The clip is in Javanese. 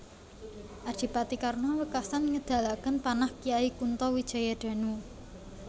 Adipati Karna wekasan ngedalaken panah Kyai Kunto Wijayadanu